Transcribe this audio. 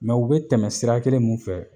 Mɛ u be tɛmɛ sira kelen min fɛ